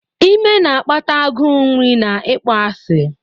Ime na-akpata agụụ nri na ịkpọasị.